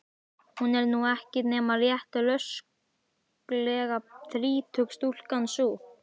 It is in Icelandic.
Hún er nú ekki nema rétt rösklega þrítug stúlkan sú.